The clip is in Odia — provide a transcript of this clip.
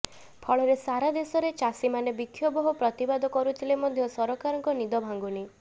ଫଳରେ ସାରା ଦେଶରେ ଚାଷୀମାନେ ବିକ୍ଷୋଭ ଓ ପ୍ରତିବାଦ କରୁଥିଲେ ମଧ୍ୟ ସରକାରଙ୍କ ନିଦ ଭାଙ୍ଗୁନି